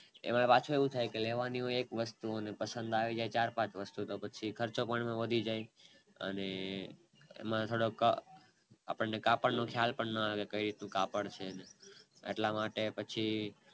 એમાં પાછું એવું થાય લેવાની હોય એક વસ્તુ અને પસંદ આવી જાય ચાર પાંચ વસ્તુ પછી ખર્ચો પણ વધી જાય અને એમાં થોડોક આપણે કાપડ નો ખ્યાલ પણ ના આવે કેટલું કાપડ છે એટલા માટે પછી